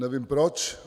Nevím proč.